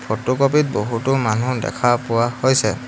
Photo copy ত বহুতো মানু্হ দেখা পোৱা হৈছে।